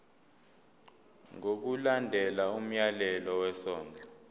ngokulandela umyalelo wesondlo